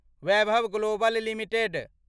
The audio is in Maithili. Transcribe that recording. Vaibhav Global limited